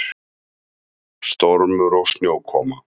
Stormur og snjókoma.